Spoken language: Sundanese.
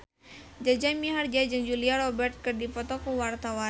Jaja Mihardja jeung Julia Robert keur dipoto ku wartawan